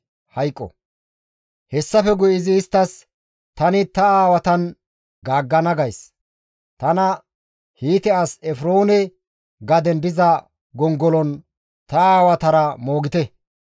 Hessafe guye izi isttas, «Tani ta aawatan gaaggana gays; tana Hiite as Efroone gaden diza gongolon, ta aawatara moogite.